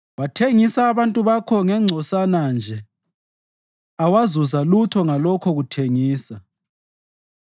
Wathengisa abantu bakho ngengcosana nje awazuza lutho ngalokho kuthengisa.